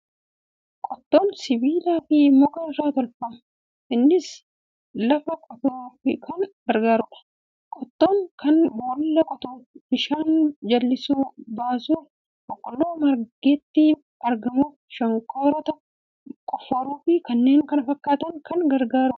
Qottoon sibiilaa fi muka irraa tolfama. Innis lafa qotuuf kan gargaarudha. Qottoon kun boolla qotuuf, bishaan jallisii baasuuf, boqqolloo margetti aramuuf, shonkoraatti qofforuu fi kanneen kana fakkaataniif kan gargaaru dha.